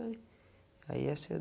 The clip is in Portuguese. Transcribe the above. Aí é seu